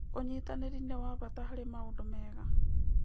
ũnyitanĩri nĩ wa bata harĩ maũndũ mega.